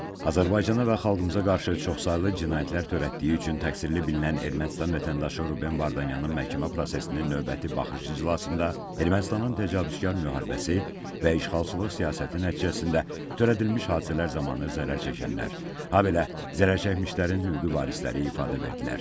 Azərbaycana və xalqımıza qarşı çoxsaylı cinayətlər törətdiyi üçün təqsirli bilinən Ermənistan vətəndaşı Ruben Vardanyanın məhkəmə prosesinin növbəti baxış iclasında Ermənistanın təcavüzkar müharibəsi və işğalçılıq siyasəti nəticəsində törədilmiş hadisələr zamanı zərər çəkənlər, habelə zərərçəkmişlərin hüquqi varisləri ifadə verdilər.